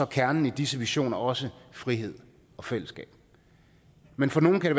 kernen i disse visioner også frihed og fællesskab men for nogle kan